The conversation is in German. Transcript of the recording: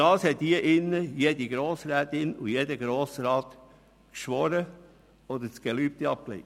Darauf hat hier jede Grossrätin, jeder Grossrat das Gelübde abgelegt oder geschworen.